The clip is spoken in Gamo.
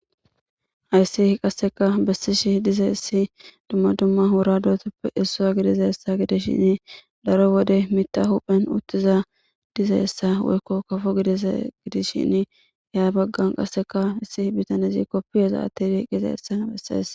hayssi qasseka bessishi diza issi dumma dumma wura dootoppe issua gidiza hessa gidishshin daro wode mita huphen uttiza diza hessa woykko kafo gidiza gidishshin ya baggan qasseka issi bitanizi koppi heza atti diiqqiza hessan bessees